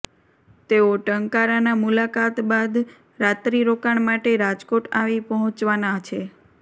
તેઓ ટંકારાના મુલાકાત બાદ રાત્રિ રોકાણ માટે રાજકોટ આવી પહોંચ્વાના છે